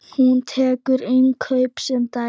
Hún tekur innkaup sem dæmi.